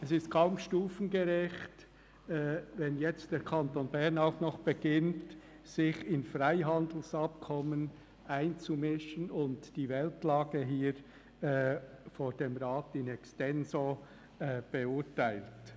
Es ist kaum stufengerecht, wenn der Kanton Bern auch noch beginnt, sich in Freihandelsabkommen einzumischen und die Weltlage vor dem Rat in extenso zu beurteilen.